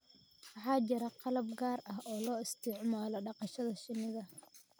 Waxaa jira qalab gaar ah oo loo isticmaalo dhaqashada shinnida